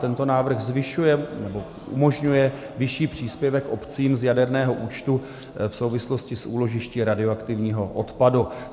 Tento návrh zvyšuje nebo umožňuje vyšší příspěvek obcím z jaderného účtu v souvislosti s úložišti radioaktivního odpadu.